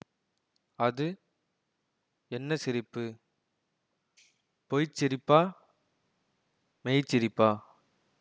அது என்ன சிரிப்பு பொய் சிரிப்பா மெய்ச் சிரிப்பா